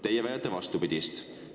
Teie väidate vastupidist.